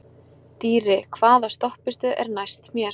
Dýri, hvaða stoppistöð er næst mér?